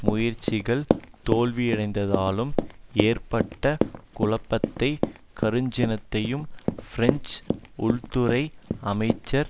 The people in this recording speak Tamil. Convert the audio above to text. முயற்சிகள் தோல்வியடைந்ததாலும் ஏற்பட்ட குழப்பத்தையும் கடுஞ்சினத்தையும் பிரெஞ்சு உள்துறை அமைச்சர்